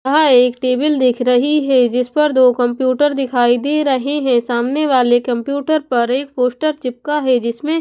यहा एक टेबल दिख रही है जिस पर दो कंप्यूटर दिखाई दे रहे हैं सामने वाले कंप्यूटर पर एक पोस्टर चिपका है जिसमें--